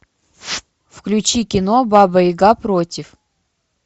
включи кино баба яга против